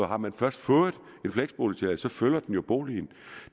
har man først fået en fleksboligtilladelse følger den jo boligen